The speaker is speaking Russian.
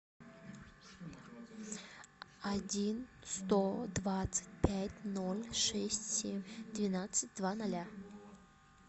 один сто двадцать пять ноль шесть семь двенадцать два ноля